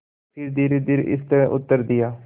फिर धीरेधीरे इस तरह उत्तर दिया